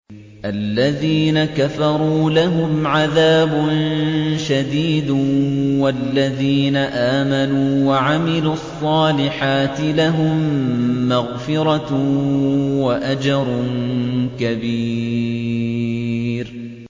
الَّذِينَ كَفَرُوا لَهُمْ عَذَابٌ شَدِيدٌ ۖ وَالَّذِينَ آمَنُوا وَعَمِلُوا الصَّالِحَاتِ لَهُم مَّغْفِرَةٌ وَأَجْرٌ كَبِيرٌ